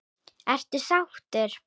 Ertu sáttur?